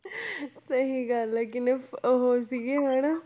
ਸਹੀ ਗੱਲ ਹੈ ਕਿੰਨੇ ਉਹ ਸੀਗੇ ਹਨਾ